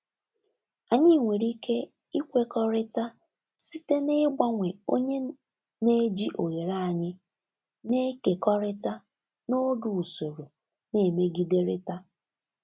Anyị nwere ike ikwekọrịta site n'ịgbanwe onye na-eji oghere anyị na-ekekọrịta n'oge usoro na-emegiderịta.